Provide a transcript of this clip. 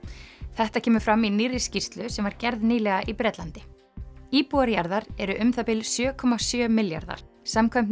þetta kemur fram í nýrri skýrslu sem var gerð nýlega í Bretlandi íbúar jarðar eru um það bil sjö komma sjö milljarðar samkvæmt